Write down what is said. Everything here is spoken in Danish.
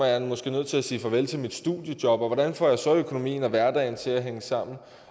jeg måske nødt til sige farvel til mit studiejob og hvordan får jeg så økonomien og hverdagen til hænge sammen